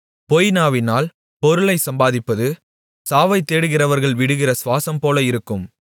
பொய்நாவினால் பொருளைச் சம்பாதிப்பது சாவைத் தேடுகிறவர்கள் விடுகிற சுவாசம்போல இருக்கும்